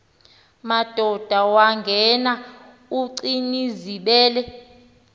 madoda wangena ugcinizibele